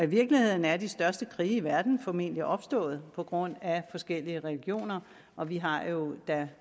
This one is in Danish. virkeligheden er de største krige i verden formentlig opstået på grund af forskellige religioner og vi har jo da